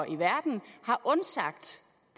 i verden har undsagt